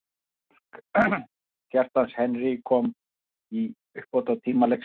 Sigurmark, Kjartans Henry kom í uppbótartíma leiksins.